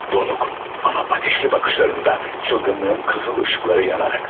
Donuq, amma atəşli baxışlarında dəliliyin qırmızı işıqları yanırdı.